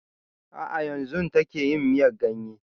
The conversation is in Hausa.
A'a yanzun take yin miyan ganye